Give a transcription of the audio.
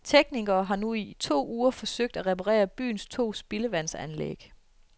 Teknikere har nu i to uger forsøgt at reparere byens to spildevandsanlæg.